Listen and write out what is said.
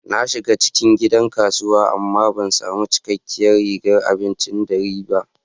Na shiga cikin gidan kasuwa amma ban sami cikakkiyar rigar abincin dare ba.